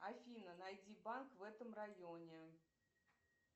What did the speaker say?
афина найди банк в этом районе